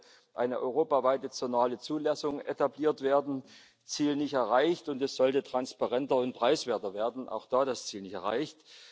Es sollte eine europaweite zonale Zulassung etabliert werden Ziel nicht erreicht. Und es sollte transparenter und preiswerter werden auch da das Ziel nicht erreicht.